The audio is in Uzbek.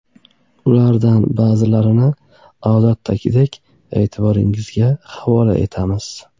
Ulardan ba’zilarini, odatdagidek, e’tiboringizga havola etamiz.